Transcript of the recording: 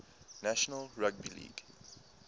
national rugby league